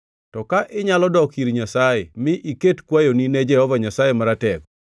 To ka inyalo dok ir Nyasaye mi iket kwayoni ne Jehova Nyasaye Maratego,